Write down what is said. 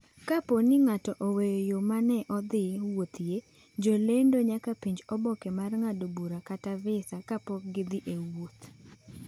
Kapo ni ng’ato oweyo yo ma ne odhi wuothoe, jolendo nyaka penj oboke mar ng’ado bura kata visa kapok gidhi e wuoth.